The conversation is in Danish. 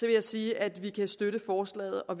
jeg sige at vi kan støtte forslaget og